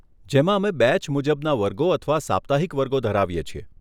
જેમાં અમે બેચ મુજબના વર્ગો અથવા સાપ્તાહિક વર્ગો ધરાવીએ છીએ.